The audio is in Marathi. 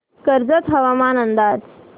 कर्जत हवामान अंदाज